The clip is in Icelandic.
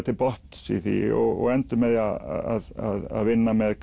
til botns í því almennilega og endum með því að vinna með